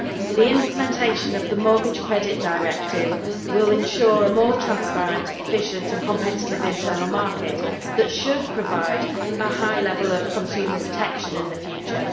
The implementation of the Mortgage Credit Directive will ensure a more transparent, efficient and competitive internal market that should provide a high level of consumer protection in the future.